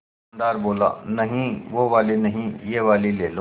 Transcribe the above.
दुकानदार बोला नहीं वो वाली नहीं ये वाली ले लो